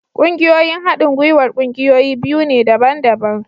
Ƙungiyoyin haɗin gwiwar ƙungiyoyi biyu ne daban-daban